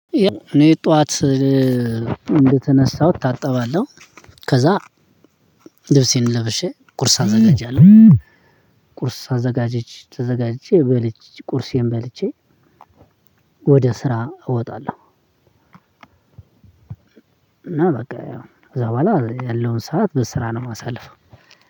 እኔ ጠዋት እንደተነሳሁ እታጠባለሁ ከዛ ልብሴን ለብሼ ቁርስ አዘጋጃለሁ። ቁርስ አዘጋጅ ተዘጋጅቼ በልቼ ቁርሴን በልቼ ወደ ስራ እወጣለሁ። እና በቃ እዛ በኋላ ያለውን ሰዓት በስራ ነው ማሳልፈው።